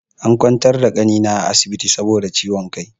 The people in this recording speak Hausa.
An ƙwantar da ƙanina a asibiti saboda ciwon ƙai.